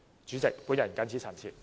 主席，我謹此陳辭。